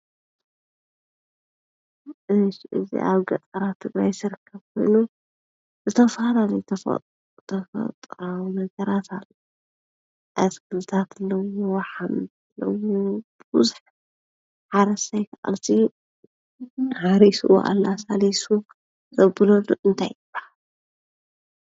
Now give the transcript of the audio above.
እዚኣብ ገጠራት ትግራይ ዝርከብ ኮይኑ ዝተፈላለዩ ተፈጥሮ ነገራአትክልቲአሕምልቲ ሙዙሕ ሓረሳይ ካዓ ሃሪሱ ኣላሣልይሱዘብቅለሉ እንታይ ይብሃል ?